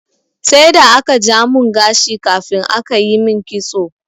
Sai da aka ja mun gashi kafin aka yi mun kitso.